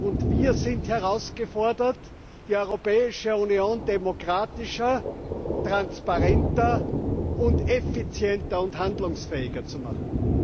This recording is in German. und wir sind herausgefordert, die Europäische Union demokratischer, transparenter, effizienter und handlungsfähiger zu machen.